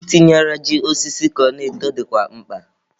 I tinyere ji osisi ka ọ na-eto dịkwa mkpa.